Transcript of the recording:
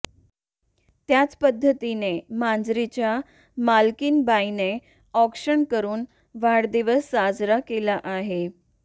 त्याच पध्दतीने मांजरीच्या मालकीन बाईने औक्षण करुन वाढदिवस साजरा केला आहे